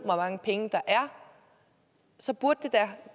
mange penge der er så burde det da